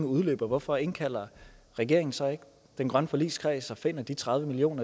udløber hvorfor indkalder regeringen så ikke den grønne forligskreds og finder de tredive million